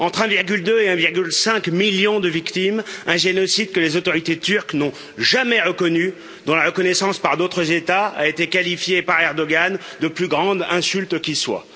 Entre 1,2 et 1,5 million de victimes, un génocide que les autorités turques n'ont jamais reconnu, dont la reconnaissance par d'autres États a été qualifiée par Erdoğan de plus grande insulte qui soit.